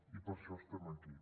i per això estem aquí